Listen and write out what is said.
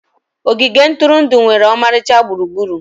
Ogige ntụrụndụ nwere ọmarịcha gburugburu.